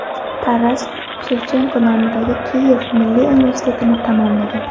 Taras Shevchenko nomidagi Kiyev milliy universitetini tamomlagan.